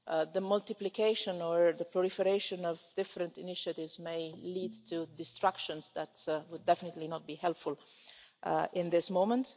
The multiplication or the proliferation of different initiatives may lead to destruction that would definitely not be helpful at this moment.